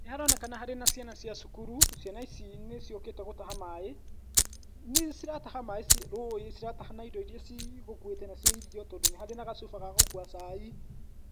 Nĩ haronekana harĩ na ciana cia cukuru , ciana ici nĩ ciũkĩte gũtaha maaĩ, nĩ cirataha maaĩ rũĩ, cirataha na indo iria cigũkuĩte nacio irio, tondũ nĩ harĩ na gacuba ga gũkua cai,